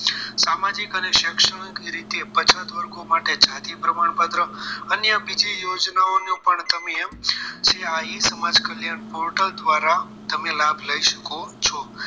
સામાજિક અને શૈક્ષણિક રીતે પછાત વર્ગ માટે જાતિ પ્રમાણપત્રક અન્ય બીજી યોજનાઓનો પણ તમે એમ જે ઈ સમાજ કલ્યાણ portal દ્વારા તમે લાભ લઈ શકો છો